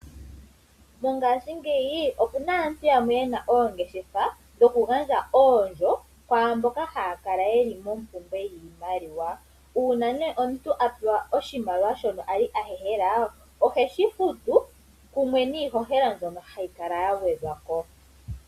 Mongashingeyi opuna aantu yamwe ye na oongeshefa dhoku gandja oondjo kwaamboka haya kala yeli mompumbwe yiimaliwa. Uuna omuntu apewa oshimaliwa shono ali ahehela, oheshi futu kumwe niihohela mbyono hayi kala yagwedhwa ko.